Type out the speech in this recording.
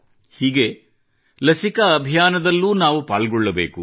ಹೀಗೆ ಲಸಿಕಾ ಅಭಿಯಾನದಲ್ಲೂ ನಾವು ಪಾಲ್ಗೊಳ್ಳಬೇಕು